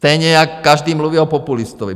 Stejně jako každý mluví o populistovi.